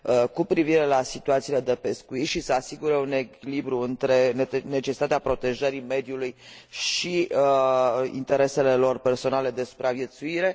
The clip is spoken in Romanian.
cu privire la situațiile de pescuit și să asigure un echilibru între necesitatea protejării mediului și interesele lor personale de supraviețuire